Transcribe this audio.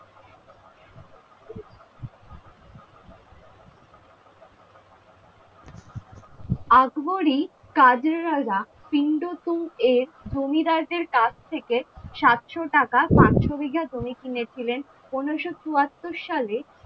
আকবরী কাজেরারা পিন্ড কুন্ড এর জমিদার এর কাছ থেকে সাতশো টাকা পাঁচশো বিঘা জমি কিনে ছিলেন পনেরোশো চুয়াত্তর সা্লে,